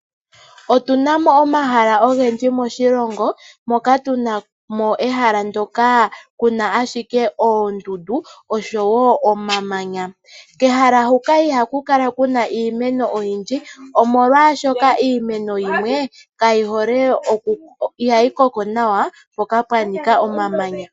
Otu na mo omahala ogendji moshilongo, moka tu na mo ehalo ndyoka ku na ashike oondundu, oshowo oma manya. Kehala huka iha ku kala kuna iimeno oyindji, oshoka iimeno yimwe iha yi koko nawa mpoka pwanika omamanya.